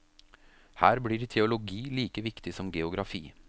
Her blir teologi like viktig som geografi.